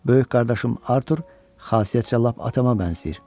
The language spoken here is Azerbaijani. Böyük qardaşım Artur xasiyyətcə lap atama bənzəyir.